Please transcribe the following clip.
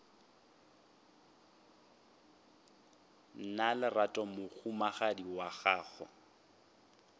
na lerato mohumagadi wa gago